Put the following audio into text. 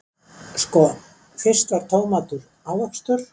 Sko, fyrst var tómatur ávöxtur.